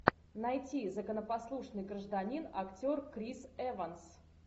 найти законопослушный гражданин актер крис эванс